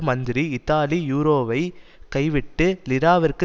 மந்திரி இத்தாலி யூரோவைக் கைவிட்டு லிராவிற்கு